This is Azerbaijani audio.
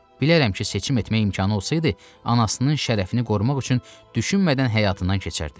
Bilərəm ki, seçim etmək imkanı olsaydı, anasının şərəfini qorumaq üçün düşünmədən həyatından keçərdi.